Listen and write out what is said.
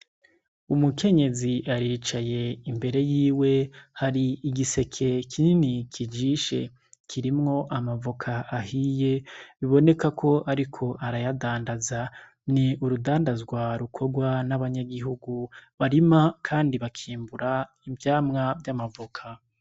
Umukenyezi aricaye imbere yiwe hari igiseke kinini kijishe kirimwo amavoka ahiye biboneka ko, ariko arayadandaza ni urudandazwa rukorwa n'abanyagihugu barima, kandi bakimbura ivyamwa vy'amavoka.